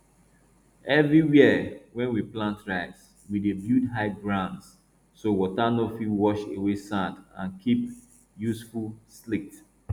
everywhere wey we plant rice we dey build high grounds so water no fit wash away sand and keep useful silt